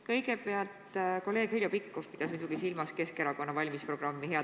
Kõigepealt, kolleeg Heljo Pikhof pidas muidugi silmas Keskerakonna valimisprogrammi.